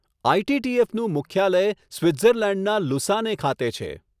આઇ.ટી.ટી.એફનું મુખ્યાલય સ્વિટ્ઝર્લેન્ડના લુસાને ખાતે છે.